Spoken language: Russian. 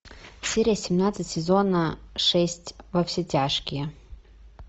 серия семнадцать сезона шесть во все тяжкие